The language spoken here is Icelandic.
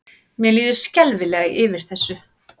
Mér líður skelfilega yfir þessu.